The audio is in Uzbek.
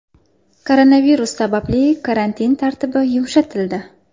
Koronavirus sababli karantin tartibi yumshatildi.